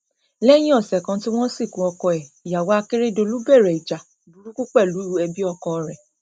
lẹyìn ọsẹ kan tí wọn sìnkú ọkọ ẹ ìyàwó àkèrèdọlù bẹrẹ ìjà burúkú pẹlú ẹbí ọkọ rẹ